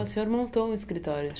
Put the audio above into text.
O senhor montou um escritório.